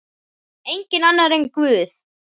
Enginn annar en Guð.